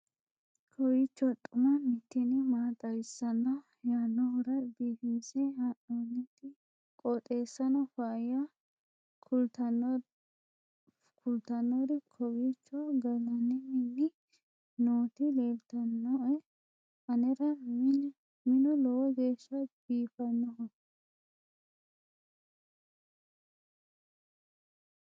kowiicho xuma mtini maa xawissanno yaannohura biifinse haa'noonniti qooxeessano faayya kultannori kowiicho gallannni mini nootti lelltannoe anera minu lowo geeshsha biifannoho